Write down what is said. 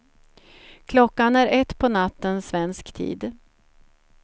Klockan är ett på natten svensk tid.